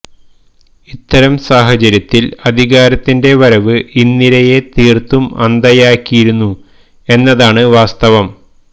ഇത്തരം സാഹചര്യത്തില് അധികാരത്തിന്റെ വരവ് ഇന്ദിരയെ തീര്ത്തും അന്ധയാക്കിയിരുന്നു എന്നതാണ് വാസ്തവം